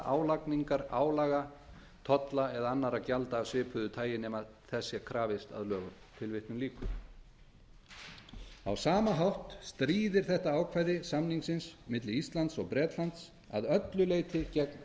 álagningar álaga tolla eða annarra gjalda af svipuðu tagi nema þess sé krafist að lögum á sama hátt stríðir þetta ákvæði samningsins milli íslands og bretlands að öllu leyti gegn